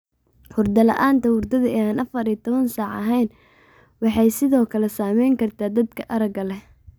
Hurdo la'aanta hurdada ee aan afar iyo labatan saac ahayn waxay sidoo kale saameyn kartaa dadka aragga leh.